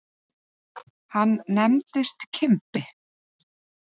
Hann nefndist Kimbi.